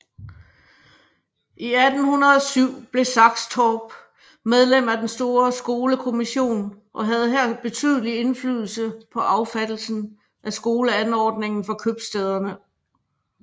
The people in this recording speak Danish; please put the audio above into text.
I 1807 blev Saxtorph medlem af den store skolekommission og havde her betydelig indflydelse på affattelsen af skoleanordningen for købstæderne